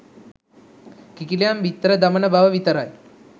කිකිළියන් බිත්තර දමන බව විතරයි.